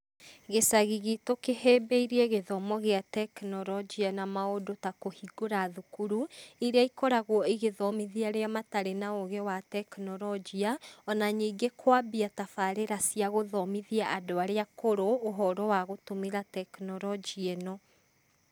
Gĩcagi giitũ kĩhĩmbĩirie gĩthomo gĩa teknolojia na maũndũ ta kũhingũra thukuru iria ikoragwo igĩthomithia arĩa matarĩ na ũũgĩ wa teknolojia ona ningĩ kwambia tabarĩra cia gũthomithia andũ aría akũrũ ũhoro wa gũtũmĩra teknolojia ĩno.